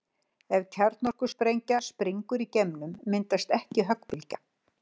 Ef kjarnorkusprengja springur í geimnum myndast ekki höggbylgja.